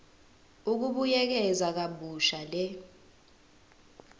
ukubuyekeza kabusha le